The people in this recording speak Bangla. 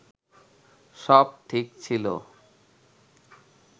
সব ঠিক ছিল